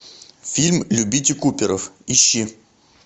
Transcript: фильм любите куперов ищи